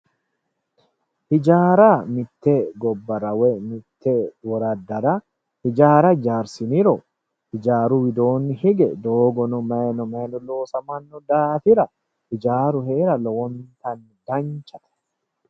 hijaara nitte gobbara woy woraddara hijaara hijaarsiniro hijaaru widooni hige doogono mayino mayino loosamanno daafira hijaaru heera lowontanni danchate